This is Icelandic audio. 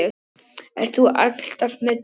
Ert þú alltaf með Dídí?